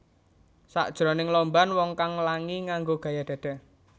Sakjroning lomban wong kang langi nganggo gaya dada